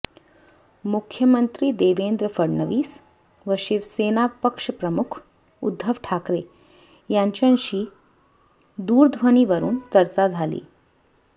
मुख्यमंत्री देवेंद्र फडणवीस व शिवसेना पक्षप्रमुख उद्धव ठाकरे यांच्याशी दूरध्वनीवरून चर्चा झाली